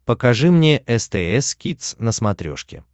покажи мне стс кидс на смотрешке